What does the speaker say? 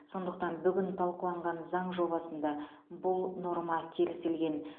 сондықтан бүгін талқыланған заң жобасында бұл норма келісілген